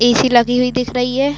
ए _C लगी हुई दिख रही है।